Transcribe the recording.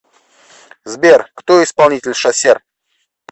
сбер кто исполнитель шасер